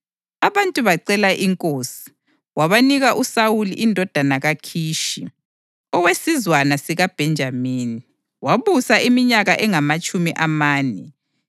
Abantu bacela inkosi, wabanika uSawuli indodana kaKhishi, owesizwana sikaBhenjamini, wabusa iminyaka engamatshumi amane.